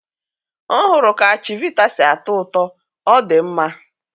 m hụrụ ka chivita si atọ ụtọ, ọ dị mma.